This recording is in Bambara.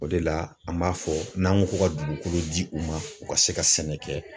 O de la , an b'a fɔ n'an ko ko ka dugukolo di u ma, u ka se ka sɛnɛ kɛ.